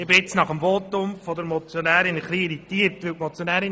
Nach dem Votum der Motionärin bin ich etwas irritiert.